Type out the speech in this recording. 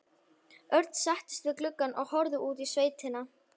Örn settist við gluggann og horfði út í sveitina.